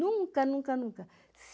Nunca, nunca, nunca.